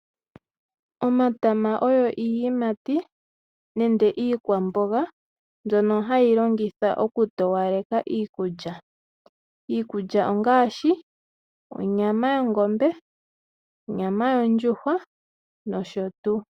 Omatama oyo iiyimati nende iikwamboga mbyono hayi longitha okutowaleka iikulya. Iikulya ongaashi onyama yongombe, onyama yondjuhwa nosho tuu.